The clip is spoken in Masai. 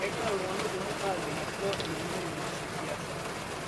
Kegira ltung'ana kumok ajing' atua oloing'ang'e le siasa